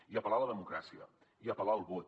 i apel·lar a la democràcia i apel·lar al vot